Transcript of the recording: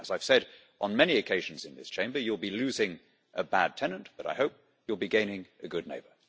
As I have said on many occasions in this Chamber you will be losing a bad tenant, but I hope you will be gaining a good neighbour.